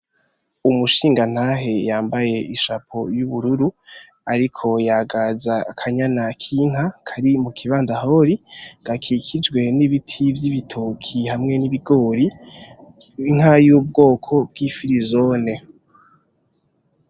Umushingantahe yambaye ishapo yubururu ariko yagaza akanyana k’Inka kari mukibandahori, gakikijwe nibiti vyibitoki hamwe nibigori n’inka yubwoko bwifirizone.